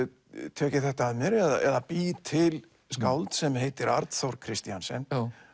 tek ég þetta að mér eða bý til skáld sem heitir Arnþór Kristiansen